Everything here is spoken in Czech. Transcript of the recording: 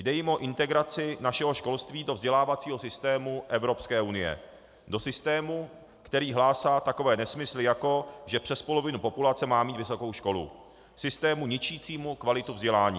Jde jim o integraci našeho školství do vzdělávacího systému Evropské unie, do systému, který hlásá takové nesmysly, jako že přes polovina populace má mít vysokou školu, systému ničícímu kvalitu vzdělání.